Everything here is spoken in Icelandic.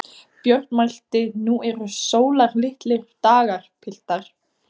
Björn mælti: Nú eru sólarlitlir dagar, piltar!